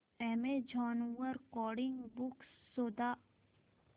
Amazon वर coding books शोधा